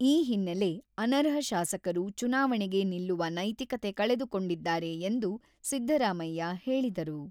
ಈ ಹಿನ್ನಲೆ ಅನರ್ಹ ಶಾಸಕರು ಚುನಾವಣೆಗೆ ನಿಲ್ಲುವ ನೈತಿಕತೆ ಕಳೆದುಕೊಂಡಿದ್ದಾರೆ ಎಂದು ಸಿದ್ದರಾಮಯ್ಯ ಹೇಳಿದರು.